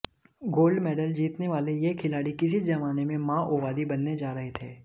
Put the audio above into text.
gold medal जीतने वाले यह खिलाड़ी किसी जमाने में माओवादी बनने जा रहे थे